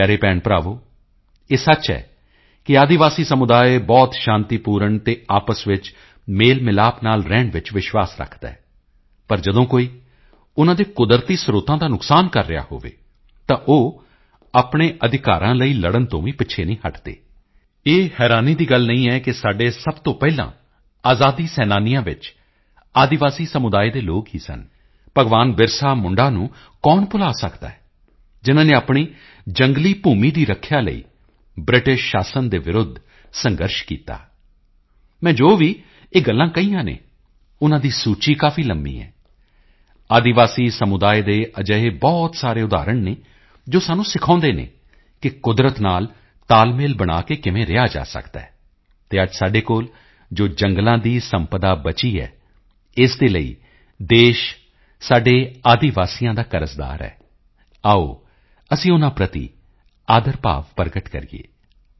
ਮੇਰੇ ਪਿਆਰੇ ਭੈਣਭਰਾਵੋ ਇਹ ਸੱਚ ਹੈ ਕਿ ਆਦਿਵਾਸੀ ਸਮੁਦਾਇ ਬਹੁਤ ਸ਼ਾਂਤੀਪੂਰਣ ਅਤੇ ਆਪਸ ਵਿੱਚ ਮੇਲਮਿਲਾਪ ਨਾਲ ਰਹਿਣ ਵਿੱਚ ਵਿਸ਼ਵਾਸ ਰੱਖਦਾ ਹੈ ਪਰ ਜਦੋਂ ਕੋਈ ਉਨ੍ਹਾਂ ਦੇ ਕੁਦਰਤੀ ਸਰੋਤਾਂ ਦਾ ਨੁਕਸਾਨ ਕਰ ਰਿਹਾ ਹੋਵੇ ਤਾਂ ਉਹ ਆਪਣੇ ਅਧਿਕਾਰਾਂ ਲਈ ਲੜਨ ਤੋਂ ਵੀ ਪਿੱਛੇ ਨਹੀਂ ਹਟਦੇ ਇਹ ਹੈਰਾਨੀ ਦੀ ਗੱਲ ਨਹੀਂ ਹੈ ਕਿ ਸਾਡੇ ਸਭ ਤੋਂ ਪਹਿਲਾਂ ਆਜ਼ਾਦ ਸੈਨਾਨੀਆਂ ਵਿੱਚ ਆਦਿਵਾਸੀ ਸਮੁਦਾਇ ਦੇ ਲੋਕ ਹੀ ਸਨ ਭਗਵਾਨ ਬਿਰਸਾ ਮੁੰਡਾ ਨੂੰ ਕੌਣ ਭੁੱਲ ਸਕਦਾ ਹੈ ਜਿਨ੍ਹਾਂ ਨੇ ਆਪਣੀ ਜੰਗਲੀ ਭੂਮੀ ਦੀ ਰੱਖਿਆ ਲਈ ਬਿ੍ਰਟਿਸ਼ ਸ਼ਾਸਨ ਦੇ ਵਿਰੁੱਧ ਸਖ਼ਤ ਸੰਘਰਸ਼ ਕੀਤਾ ਮੈਂ ਜੋ ਵੀ ਇਹ ਗੱਲਾਂ ਕਹੀਆਂ ਹਨ ਉਨ੍ਹਾਂ ਦੀ ਸੂਚੀ ਕਾਫੀ ਲੰਬੀ ਹੈ ਆਦਿਵਾਸੀ ਸਮੁਦਾਇ ਦੇ ਅਜਿਹੇ ਬਹੁਤ ਸਾਰੇ ਉਦਾਹਰਣ ਹਨ ਜੋ ਸਾਨੂੰ ਸਿਖਾਉਦੇ ਹਨ ਕਿ ਕੁਦਰਤ ਨਾਲ ਤਾਲਮੇਲ ਬਣਾਕੇ ਕਿਵੇਂ ਰਿਹਾ ਜਾ ਸਕਦਾ ਹੈ ਅਤੇ ਅੱਜ ਸਾਡੇ ਕੋਲ ਜੋ ਜੰਗਲਾਂ ਦੀ ਸੰਪਦਾ ਬਚੀ ਹੈ ਇਸ ਦੇ ਲਈ ਦੇਸ਼ ਸਾਡੇ ਆਦਿਵਾਸੀਆਂ ਦਾ ਕਰਜ਼ਦਾਰ ਹੈ ਆਓ ਅਸੀਂ ਉਨ੍ਹਾਂ ਪ੍ਰਤੀ ਆਦਰ ਭਾਵ ਪ੍ਰਗਟ ਕਰੀਏ